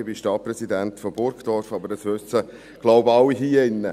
Ich bin Stadtpräsident von Burgdorf, aber das wissen, glaube ich, alle hier drin.